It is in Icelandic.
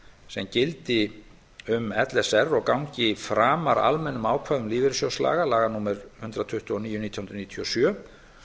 sem gildi um l s r og gangi framar almennum ákvæðum lífeyrissjóðslaga laga númer hundrað tuttugu og níu nítján hundruð níutíu og sjö